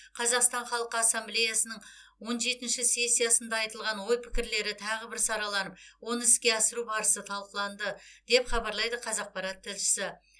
қазақстан халқы ассамблеясының он жетінші сессиясында айтылған ой пікірлері тағы бір сараланып оны іске асыру барысы талқыланды деп хабарлайды қазақпарат тілшісі